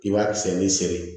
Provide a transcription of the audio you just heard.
I b'a sen ni sen